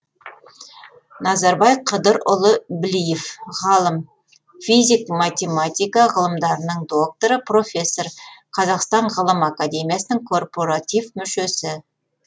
назарбай қыдырұлы білиев ғалым физик математика ғылымдарының докторы профессор қазақстан ғылым академиясының коррпоратив мүшесі